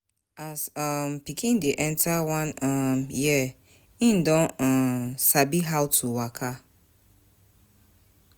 As um pikin dey enter one um year im don um sabi how to waka